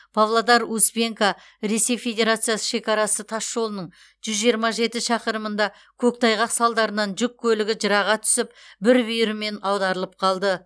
павлодар успенка ресей федерациясы шекарасы тасжолының жүз жиырма жеті шақырымында көктайғақ салдарынан жүк көлігі жыраға түсіп бір бүйірімен аударылып қалды